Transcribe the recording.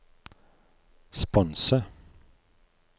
sponse